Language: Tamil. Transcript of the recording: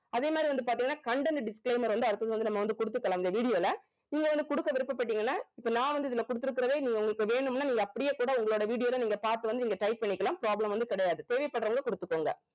அதே மாதிரி வந்து பாத்தீங்கன்னா content disclaimer வந்து அடுத்தது வந்து நம்ம வந்து குடுத்துக்கலாம் இந்த video ல நீங்க வந்து குடுக்க விருப்ப பட்டீங்கன்னா இப்ப நான் வந்து இதுல குடுத்திருக்கிறதே நீங்க உங்களுக்கு வேணும்னா நீங்க அப்படியே கூட உங்களோட video ல நீங்க பார்த்து வந்து நீங்க type பண்ணிக்கலாம் problem வந்து கிடையாது தேவைப்படுறவங்க குடுத்துக்கோங்க